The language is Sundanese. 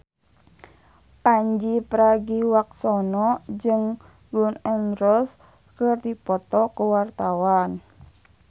Pandji Pragiwaksono jeung Gun N Roses keur dipoto ku wartawan